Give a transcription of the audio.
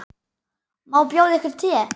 Má bjóða yður te?